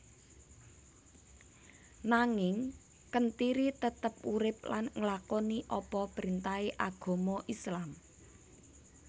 Nanging Kentiri tetep urip lan nglakoni apa printahe agama islam